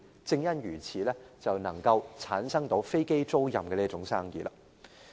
正因如此，便產生了飛機租賃這門生意。